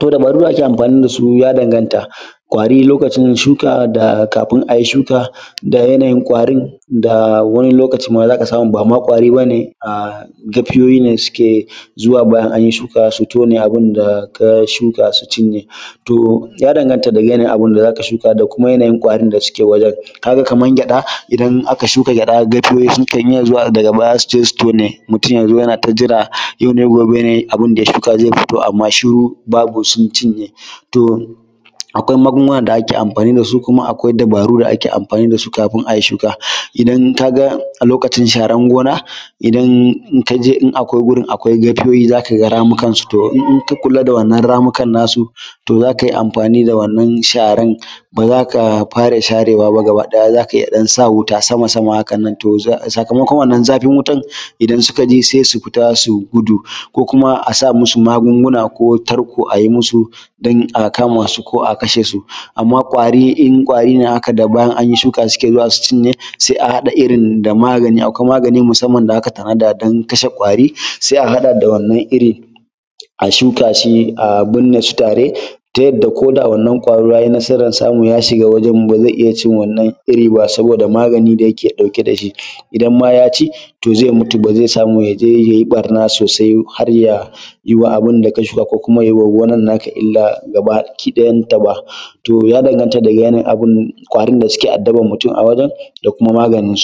To dabaru da ake amfani da shi ya danganta. Ƙwari lokacin shuka da kafin a yi shuka da yanayin ƙwarin da a wani lokacin ma za ka samu ba ma ƙwari ba ne, a, gafiyoyi ne suke zuwa bayan an yi shuka su tone abun da ka shuka su cinye. To, ya danganta da yanayin abun da za ka shuka da kuma yanayin ƙwarin da suke wajen. Ka ga kamar gyaɗa, idan aka shuka gyaɗa, gafiyoyi sukan iya zuwa daga baya su je su tone, mutum ya zo yana ta jira, yau ne, gobe ne, abun ya shuka zai fito amma shiru, babu sun cinye. To, akwai magunguna da ake amfani da su kuma akwai dabaru da ake amfani da su kafin a yi shuka. Idan ka ga a lokacin sharar gona, idan, in ka je, in akwai gurin akwai gafiyoyi za ka ga ramukansu, to ka kula da wannan ramukan nasu, to za ka yi amfani da wannan sharar, ba za ka fara sharewa ba gabaɗaya, za ka iya ɗan sa wuta sama-sama hakan nan, to za, sakamakon wannan zafin wutan, idan suka ji sai su fita su gudu. Ko kuma a sa musu magunguna ko tarko a yi musu don a kama su ko a kashe su. Amma ƙwari, in ƙwari ne haka da bayan an yi shuka suke zuwa su cinye, sai a haɗa irin da magani, akwai magani musamman da aka tanada don kashe ƙwari, sai a haɗa da wannan iri, a shuka shi, a binne shi tare, ta yadda ko da wannan ƙwaro ya yi nasarar samu ya shiga wajen, ba zai iya cin wannan iri ba saboda magani da yake ɗauke da shi. Idan ma ya ci, to zai mutu ba zai samu ya je ya yi ɓarna sosai har ya yi wa abun da ka shuka ko kuma ya yi wa gonan naka illa gabakiɗayanta ba. To ya danganta daga ƙwarin da suke addabar mutum a wajen da kuma maganinsu.